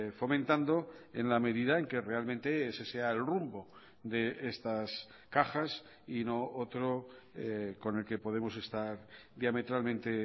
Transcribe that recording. fomentando en la medida en que realmente ese sea el rumbo de estas cajas y no otro con el que podemos estar diametralmente